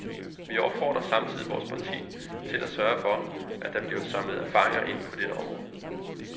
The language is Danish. Vi opfordrer samtidig vores parti til at sørge for, at der bliver samlet erfaring ind på dette område.